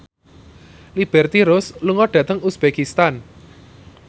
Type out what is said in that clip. Liberty Ross lunga dhateng uzbekistan